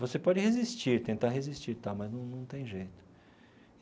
Você pode resistir, tentar resistir tal, mas num num tem jeito.